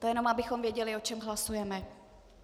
To jen abychom věděli, o čem hlasujeme.